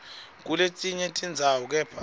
kuletinye tindzawo kepha